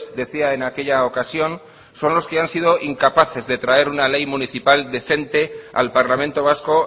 decía en aquella ocasión son los que han sido incapaces de traer una ley municipal decente al parlamento vasco